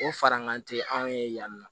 O farankan tɛ anw ye yan nɔ